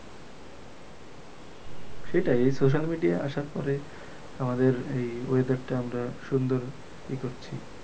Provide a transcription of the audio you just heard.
সেটাই এই social media আসার পরে আমাদের এই weather টা আমরা সুন্দর ই করছি।